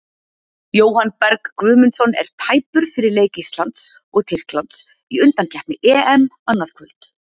Jóhann Berg Guðmundsson er tæpur fyrir leik Íslands og Tyrklands í undankeppni EM annað kvöld.